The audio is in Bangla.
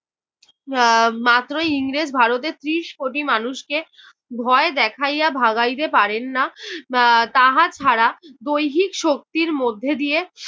এর মাত্রই ইংরেজ ভারতের ত্রিশ কোটি মানুষকে ভয় দেখাইয়া ভাগাইতে পারেন না। আহ তাহা ছাড়া দৈহিক শক্তির মধ্যে দিয়ে